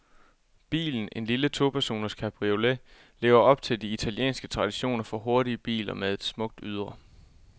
Bilen, en lille topersoners cabriolet, lever op til de italienske traditioner for hurtige biler med et smukt ydre.